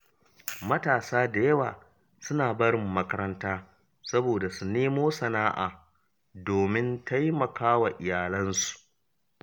Matasa da yawa suna barin makaranta saboda su nemo sana’a domin taimakawa iyalansu.